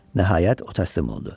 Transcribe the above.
Nəhayət o təslim oldu